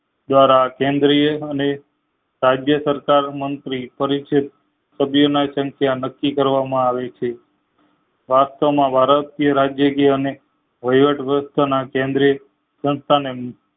દ્વારા કેન્દ્રીય અને રાજ્યસરકાર મંત્રી પરિચિત સભ્ય ની સંખ્યા નક્કી કરવામાં આવી છે વાસ્તવ માં વાર રાજય થી અને વયવત વ્યવશ્થ ના કેન્દ્રે સંસ્થાને